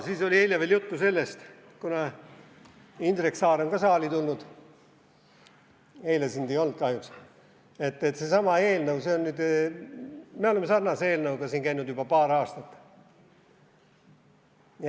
Siis oli eile veel juttu sellest – kuna Indrek Saar on ka saali tulnud, eile sind ei olnud kahjuks –, et me oleme sarnase eelnõuga siin käinud juba paar aastat.